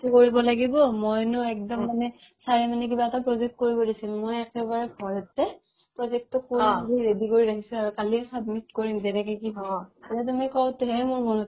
কৰিব লাগিব মইনো একদম মানে ovelap sir ৰে মানে কিবা এটা project কৰিব দিছিল মই একেবাৰে ভয়তে project তো কৰি মেলি ready কৰি ৰাখিছো আৰু কালিয়ে submit কৰিম যেনেকে কি নহ'ক সেয়ে মোৰ মনত